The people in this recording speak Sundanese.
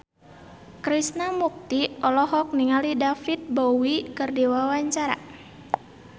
Krishna Mukti olohok ningali David Bowie keur diwawancara